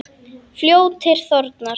Fljótið þornar.